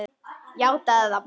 Játaðu það bara!